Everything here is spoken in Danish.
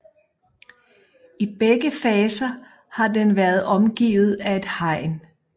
I begge faser har den været omgivet af et hegn